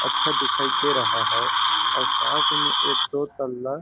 अच्छा दिखाई दे रहा है और साथ में एक दो तल्ला --